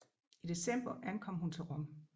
I december ankom hun til Rom